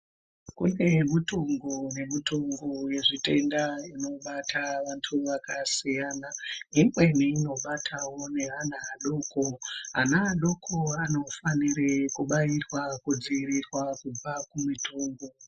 Kune mitongo nemitongo yezvitenda inobata vanthu vakasiyana imweni inobatao neanq adoko ana adoko anofanira kubairwa kudziirirwa kubva kumitongo.